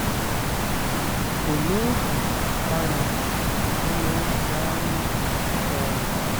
kò lóògùn aririyá ó lọ́ọ́ ń jẹ aáyán ó ga o